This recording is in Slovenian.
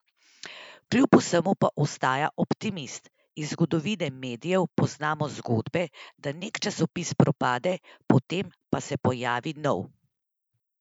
Kljub vsemu pa ostaja optimist: "Iz zgodovine medijev poznamo zgodbe, da nek časopis propade, potem pa se pojavi nov.